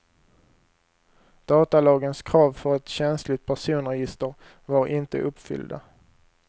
Datalagens krav för ett känsligt personregister var inte uppfyllda.